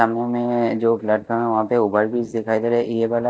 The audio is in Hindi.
जो प्लेटफार्म है वहाँ पे ओवर ब्रिज दिखाई दे रहे --